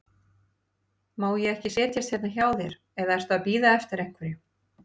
Má ég ekki setjast hérna hjá þér, eða ertu að bíða eftir einhverjum?